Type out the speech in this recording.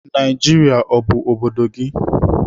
Naijiria ọ bụ obodo gị?